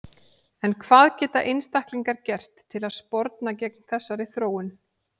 En hvað geta einstaklingar gert til að sporna gegn þessari þróun?